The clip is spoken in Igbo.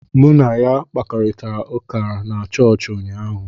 M na ya kparịtara ụka na chọọchị ụnyaahụ